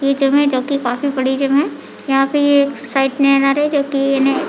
ये जिम है जो की काफी बड़ी जिम है यहाँ पे ये साइड में आ रहे जो की इन्हे --